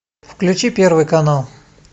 включи первый канал